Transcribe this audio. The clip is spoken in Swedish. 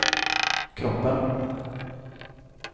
kroppen